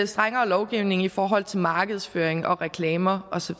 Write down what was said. strengere lovgivning i forhold til markedsføring og reklamer og så